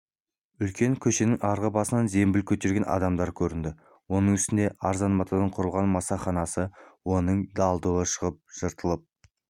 үлкен көшенің арғы басынан зембіл көтерген адамдар көрінді оның үстіндегі арзан матадан құрылған масаханасы оңып дал-дұлы шығып жыртылып